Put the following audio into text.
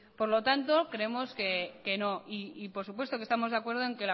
por lo tanto creemos que no y por supuesto que estamos de acuerdo en